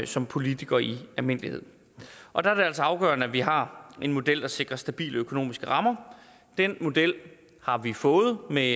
som politiker i almindelighed og der er det altså afgørende at vi har en model der sikrer stabile økonomiske rammer den model har vi fået med